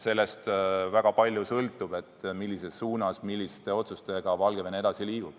Sellest sõltub väga palju, millises suunas ja milliste otsustega Valgevene edasi liigub.